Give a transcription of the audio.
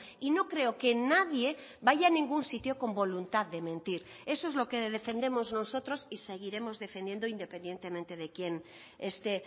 y no creo que nadie vaya a ningún sitio con voluntad de mentir eso es lo que defendemos nosotros y seguiremos defendiendo independientemente de quién esté